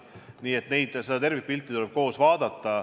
Nii et tuleb tervikpilti vaadata.